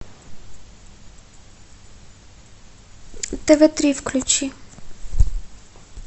тв три включи